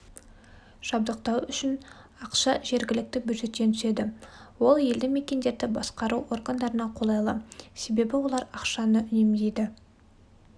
жабдықтау үшін ақша жергілікті бюджеттен түседі ол елді-мекендерді басқару органдарына қолайлы себебі олар ақшаны үнемдейді